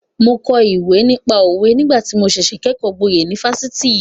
Mo kọ ìwé nípa òwe nígbà tí mo ṣẹ̀ṣẹ̀ kẹ́kọ̀ọ́ gboyè ní Fáṣítì.